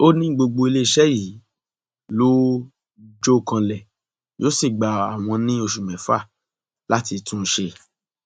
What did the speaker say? ó ní gbogbo iléeṣẹ yìí ló jọ kanlẹ yóò sì gba àwọn ní oṣù mẹfà láti tún un ṣe